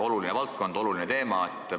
Oluline valdkond, oluline teema!